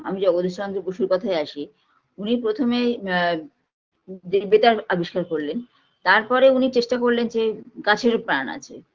আমি জগদীশ চন্দ্র বসুর কথায় আসি উনি প্রথমে আ যে বেতার আবিষ্কার করলেন তারপরে উনি চেষ্টা করলেন যে গাছেরও প্রান আছে